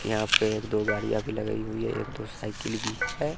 यहां पे एक दो गाड़ियां भी लगाई हुई है एक दो साइकिल भी है।